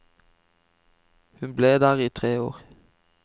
Hun ble der i tre år.